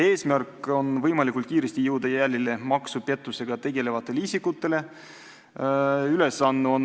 Eesmärk on jõuda võimalikult kiiresti maksupettusega tegelevate isikute jälile.